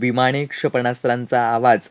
विमाने क्षेपणास्त्रांचा आवाज